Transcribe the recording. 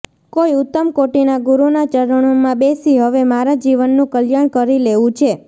કોઈ ઉત્તમ કોટિના ગુરૂના ચરણોમાં બેસી હવે મારા જીવનનું કલ્યાણ કરી લેવું છે